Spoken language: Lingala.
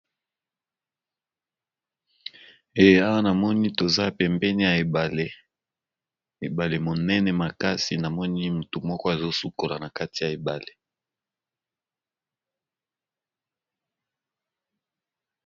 Eh awa na moni toza pembeni ya ebale, ebale monene makasi na moni motu moko azo sukola na kati ya ebale.